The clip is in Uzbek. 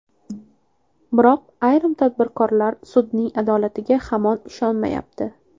Biroq ayrim tadbirkorlar sudning adolatiga hamon ishonmayapti.